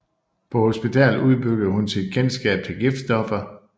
På hospitalet udbyggede hun sit kendskab til giftstoffer